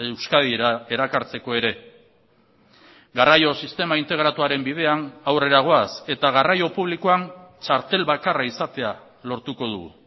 euskadira erakartzeko ere garraio sistema integratuaren bidean aurrera goaz eta garraio publikoan txartel bakarra izatea lortuko dugu